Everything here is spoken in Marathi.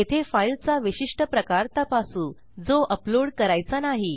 येथे फाईलचा विशिष्ट प्रकार तपासू जो अपलोड करायचा नाही